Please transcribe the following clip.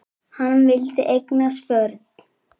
Hann vildi eignast börn.